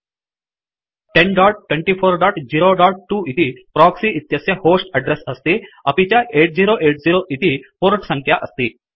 102402 इति प्रोक्सि इत्यस्य host address अस्ति अपि च 8080 इति पोर्ट संख्या अस्ति